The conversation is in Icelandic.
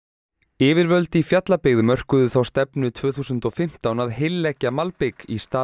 yfirvöld í Fjallabyggð mörkuðu þá stefnu tvö þúsund og fimmtán að heilleggja malbik í stað